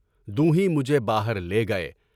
دو ہیں مجھے باہر لے گئے۔